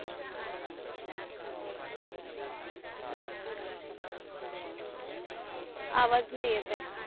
आवाज नाही येत आहे